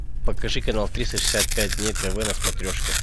покажи канал триста шестьдесят пять дней тв на смотрешке